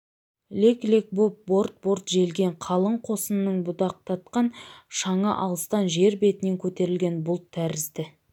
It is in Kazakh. лек-лек боп борт-борт желген қалың қосынның будақтатқан шаңы алыстан жер бетінен көтерілген бұлт тәрізді